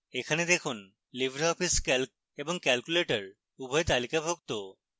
এখানে দেখুনlibreoffice calc এবং calculator উভয় তালিকাভুক্ত